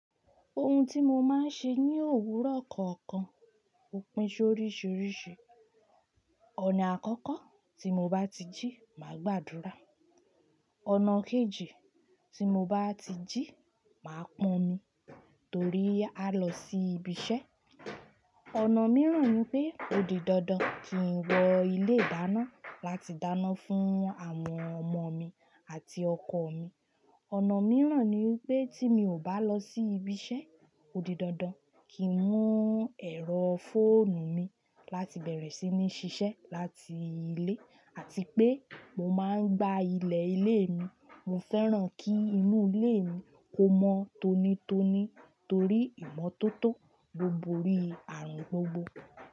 Ohun tí mo máa ń ṣe ní òwúrọ̀ kọ̀ọ̀kan ó pín sóríṣiríṣi. Ọ̀nà àkọ́kọ́ tí mo bá ti jí máa gbàdúrà. Ọ̀nà kejì tí mo bá ti jí máa pọnmi torí a lọ sí ibi iṣẹ́. Ọ̀nà mìíràn ni pé odidandan kì n wọ ilé ìdáná láti dáná fún àwọn ọmọ mi àti ọkọ mi. Ọ̀nà mìíràn ni wipé tí mi ò bá lọ sí ibi iṣẹ́, odidandan kì n mú ẹ̀rọ fóònù mi láti bẹ̀rẹ̀ sí ní ṣiṣẹ́ láti ilé àti pé mo máa ń gba ilẹ̀ ilé mi. Mo fẹ́ràn kí inú ilé mi kó mọ́ tónítóní torí ìmọ́tótó ló bó orí ààrùn gbogbo.